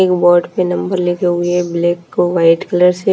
एक बोर्ड पे नंबर लिखे हुए हैं ब्लैक और वाइट कलर से --